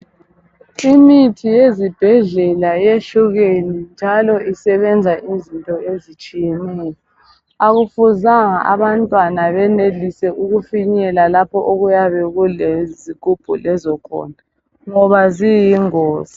Imithi yezibhedlela yehlukene njalo isebenza izinto ezitshiyeneyo akumelanga abantwana benelise ukufinyelela lapho okuyabe kulezigubhu lezo khona ngoba ziyingozi.